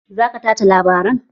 Za ka tace labaran?